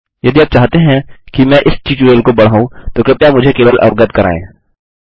यदि आप चाहते हैं कि मैं इस ट्यूटोरियल को बढ़ाऊँ तो कृपया मुझे केवल अवगत कराएँ